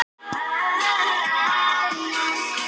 Það þarf ekki alltaf að eyða stórfé til að fá góða leikmenn.